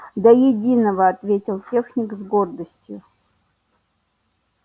до единого ответил техник с гордостью